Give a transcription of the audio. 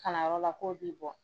Kalanyɔrɔ k'o b'i bɔ